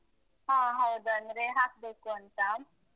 ಹ. ಹೌದು. ಅಂದ್ರೆ ಹಾಕ್ಬೇಕು ಅಂತ.